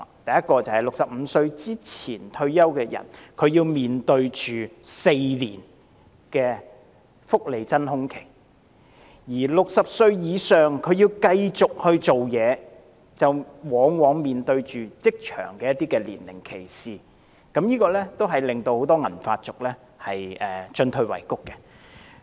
首先，在65歲前退休的人士要面對4年福利真空期；而60歲以上的人士如要繼續工作，往往會面對職場年齡歧視，這令很多銀髮族進退維谷。